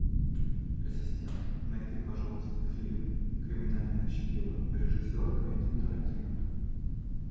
ассистент найди пожалуйста фильм криминальное чтиво режиссер квентин тарантино